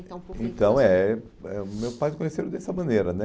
contar um pouquinho Então eh ãh, meus pais se conheceram dessa maneira, né?